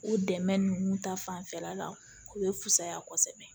O dɛmɛ ninnu ta fanfɛla la u be fusaya kosɛbɛ